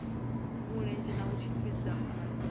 mulenzhe na u tshimbidza khonadzeo